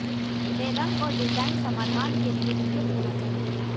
वे रंग और डिजाइन समाधान के लिए उपयुक्त होना चाहिए